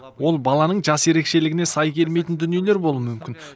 ол баланың жас ерекшелігіне сай келмейтін дүниелер болуы мүмкін